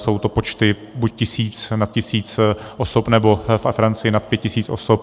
Jsou to počty buď tisíc, nad tisíc osob nebo ve Francii nad 5 tisíc osob.